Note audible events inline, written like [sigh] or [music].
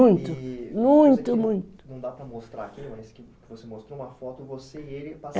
[unintelligible] muito, muito, [unintelligible] não dá para mostrar aqui, mas você mostrou uma foto você e ele [unintelligible]